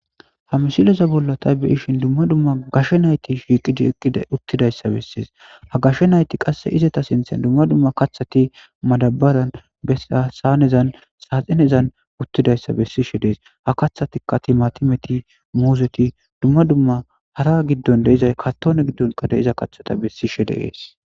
Ha misileza bolla ta beyishini duma duma gashe nati utidayissa bessesi ha gashe nati qassi izata sinithani kathati qashetiqasheti utidayissa nessishe desi ha kathatikka timatimeti muzeti duma dua harazi karitone gidoni dizayitaka besishe deyesi